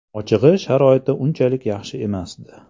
Ochig‘i, sharoiti unchalik yaxshi emasdi.